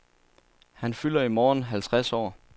Han fylder i morgen halvtreds år.